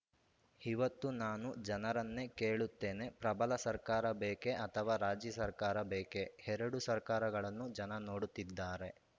ಇವತ್ತು ನಾನು ಜನರನ್ನೇ ಕೇಳುತ್ತೇನೆ ಪ್ರಬಲ ಸರ್ಕಾರ ಬೇಕೇ ಅಥವಾ ರಾಜಿ ಸರ್ಕಾರ ಬೇಕೇ ಎರಡೂ ಸರ್ಕಾರಗಳನ್ನೂ ಜನ ನೋಡುತ್ತಿದ್ದಾರೆ